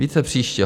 Více příště.